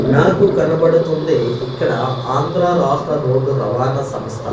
నాకు కనబడుతుంది ఇక్కడ ఆంధ్రా రాష్ట్ర రోడ్డు రవాణా సంస్థ--